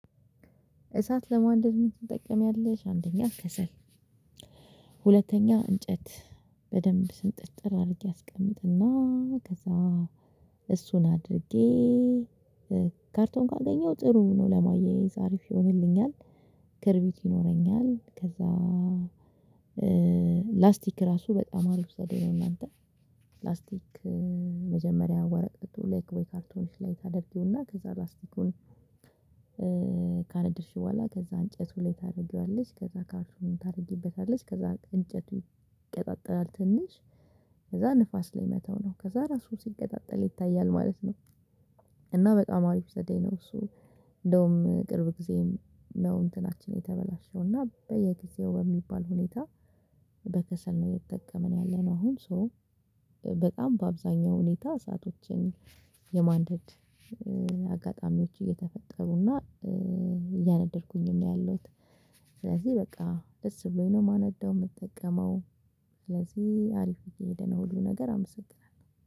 እሳት ለማንደድ ምን ትጠቀሚያለሽ? አንደኛ ከሰል። ሁለተኛው እንጨት በደንብ ስንጥጥር አድርጌ አስቀምጥና ከዛ እሱን አድርጌ ካርቶን ካገኘው ጥሩ ነው ለማያያዝ አሪፍ ይሆንልኛል። ክርቢት ይኖረኛል ከዛ ላስቲክ ራሱ በጣም አሪፍ ዘዴ ነው። አናንተ ላስቲክ መጀመሪያ ወረቀት ላይክ ወይ ካርቶኒሽ ላይ ታደርጊውና ከዛ ላስቲኩን። ካነደድሽ በኋላ ከዛ እንጨቱ ላይ ታደርጊዋለች ከዛ ካርቶን ታደርጊበታለች ከዛ እንጨቱ ይቀጣጠላል። ትንሽ ከዛ ንፋስ ላይ መተው ነው። ከዛ ራሱ ሲገጣጠል ይታያል ማለት ነው። እና በጣም አሪፍ ዘዴ ነው። እንደውም ቅርብ ጊዜ ነው እንትናችን የተበላሸው እና በየጊዜው በሚባል ሁኔታ በከሰል ነው እየተጠቀመን ያለነው። አሁን ሶ በጣም በአብዛኛው ሁኔታ እሳቶችን የማንደድ አጋጣሚዎች እየተፈጠሩና እያነደድኩኝም ያለሁት። ስለዚህ በቃ ደስ ብሎኝ ነው የማነዳው የምጠቀመው። ስለዚህ አሪፍ እየሄደ ነው። ሁሉ ነገር አመሰግናለሁ